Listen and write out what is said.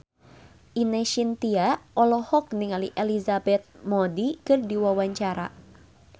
Ine Shintya olohok ningali Elizabeth Moody keur diwawancara